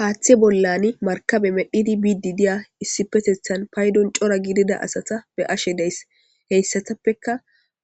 Haaththe bollan markabe medhidi bididiya issipetethan paydon cora gidida asata be ashe deys. heyssatappeka